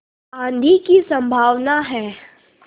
आँधी की संभावना है